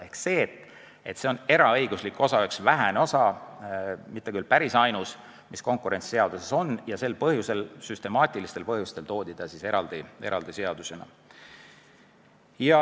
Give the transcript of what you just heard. Ehk see on eraõiguslik osa – üks vähestest sellistest osadest, mitte küll päris ainus, mis konkurentsiseaduses on – ja süstemaatilistel põhjustel toodi ta eraldi seadusesse.